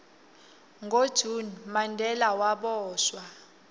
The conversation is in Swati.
ngo june mandela waboshwa